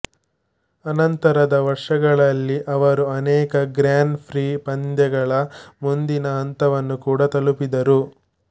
ಅನಂತರದ ವರ್ಷಗಳಲ್ಲಿ ಅವರು ಅನೇಕ ಗ್ರಾನ್ ಪ್ರೀ ಪಂದ್ಯಗಳ ಮುಂದಿನ ಹಂತವನ್ನು ಕೂಡಾ ತಲುಪಿದರು